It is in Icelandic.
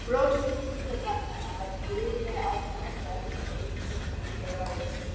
Brottflutningur barnanna var gríðarlegt átak enda þótti ýmsum í mikið ráðist.